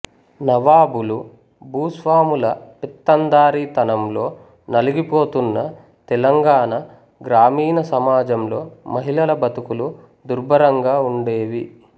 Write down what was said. నవాబులు భూస్వాముల పెత్తందారీ తనంలో నలిగిపోతున్న తెలంగాణ గ్రామీణ సమాజంలో మహిళల బతుకులు దుర్భరంగా ఉండేవి